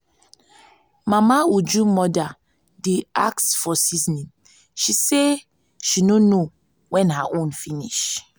mama uju mother dey ask for seasoning she say she no know wen her own finish